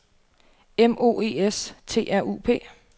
M O E S T R U P